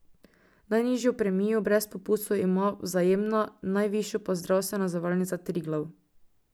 Najnižjo premijo brez popustov ima Vzajemna, najvišjo pa zdravstvena zavarovalnica Triglav.